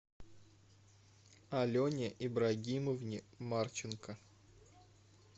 алене ибрагимовне марченко